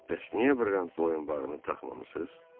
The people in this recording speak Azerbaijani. bəs niyə brilliant boyunbağını taxmamısınız?